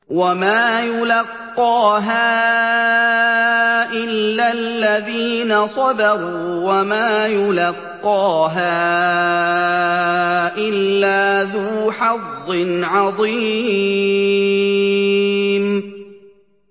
وَمَا يُلَقَّاهَا إِلَّا الَّذِينَ صَبَرُوا وَمَا يُلَقَّاهَا إِلَّا ذُو حَظٍّ عَظِيمٍ